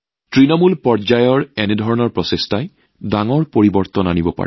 তৃণমূল পৰ্যায়ত কৰা এনে প্ৰচেষ্টাই বৃহৎ পৰিৱৰ্তন আনিব পাৰে